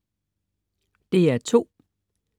DR2: